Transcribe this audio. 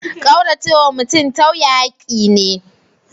Kauracewa mutum tauye hakki ne.